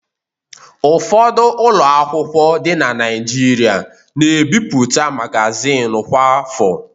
Ụfọdụ ụlọ akwụkwọ dị na Naịjirịa na-ebipụta magazin kwa afọ.